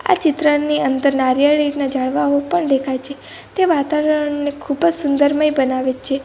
આ ચિત્રની અંદર નારિયેળીના ઝાડવાઓ પણ દેખાય છે તે વાતાવરણને ખૂબજ સુંદરમય બનાવે છે.